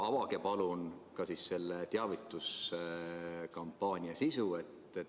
Avage palun ka selle teavituskampaania sisu.